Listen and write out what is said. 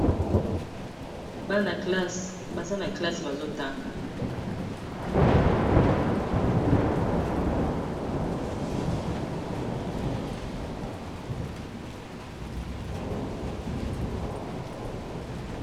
Bana classe baza na classe bazotanga.